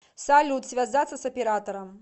салют связаться с оператором